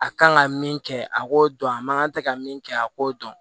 A kan ka min kɛ a k'o dɔn a man kan tɛ ka min kɛ a k'o dɔn